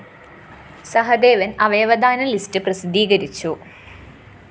സഹദേവന്‍ അവയവദാന ലിസ്റ്റ്‌ പ്രസിദ്ധീകരിച്ചു